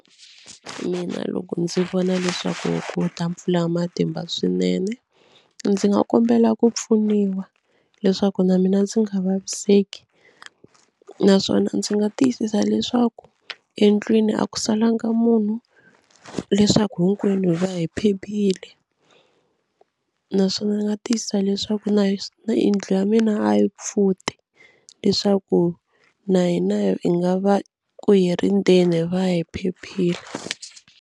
Mina loko ndzi vona leswaku ku ta mpfula ya matimba swinene ndzi nga kombela ku pfuniwa leswaku na mina ndzi nga vaviseki naswona ndzi nga tiyisisa leswaku endlwini a ku salanga munhu leswaku hinkwenu hi va hi phephile naswona ndzi nga tiyisisa leswaku na yindlu ya mina a yi pfuti leswaku na hina hi nga va ku hi ri ndzeni hi va hi phephile.